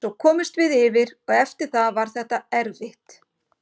Svo komumst við yfir og eftir það var þetta erfitt.